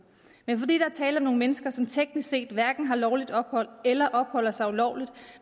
men fordi der er tale om nogle mennesker som teknisk set hverken har lovligt ophold eller opholder sig ulovligt